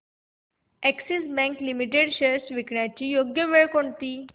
Axis bank limited shares विकण्याची योग्य वेळ कोणती